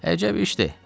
Əcəb işdi!